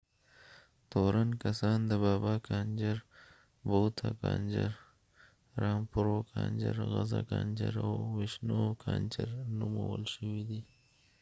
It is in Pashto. تورن کسان د بابا کانجر بوته کانجر رامپرو کانجر غزه کانجر او وشنو کانجر نومول شوي دي